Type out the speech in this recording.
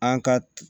An ka